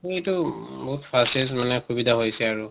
এইটো fastest মানে সুবিধা হৈছে আৰু